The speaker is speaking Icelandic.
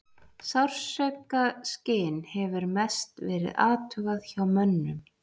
Sársaukaskyn hefur mest verið athugað hjá mönnum.